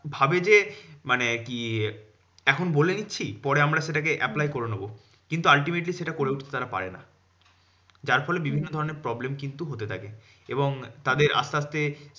ভাবে যে মানে কি আহ এখন বলে দিচ্ছি পরে আমরা সেটাকে apply করে নেবো। কিন্তু ultimately সেটা করে উঠতে তারা পারে না। যার ফলে বিভিন্ন ধরণের problem কিন্তু হতে থাকে। এবং তাদের আসতে আসতে